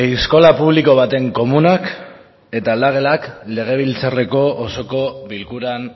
eskola publiko baten komunak eta aldagelak legebiltzarreko osoko bilkuran